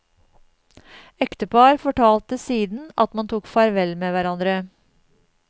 Ektepar fortalte siden at man tok farvel med hverandre.